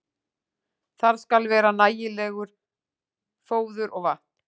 Þar skal vera nægilegt fóður og vatn.